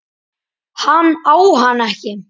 Hann á hana ekki.